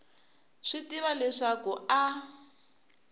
swi tiva leswaku a a